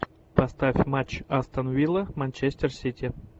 поставь матч астон вилла манчестер сити